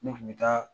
Ne kun bɛ taa